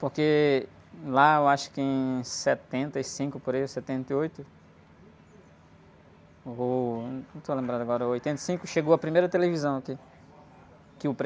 Porque lá eu acho que em setenta e cinco, por aí, ou setenta e oito, não vou, não estou lembrado agora, oitenta e cinco, chegou a primeira televisão aqui.